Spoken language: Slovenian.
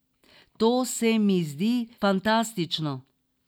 To se mi zdi fantastično.